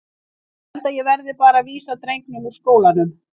Ég held að ég verði bara að vísa drengnum úr skólanum.